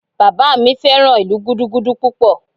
Bàbá mi fẹ́ràn ìlú Gúdúgúdú púpọ̀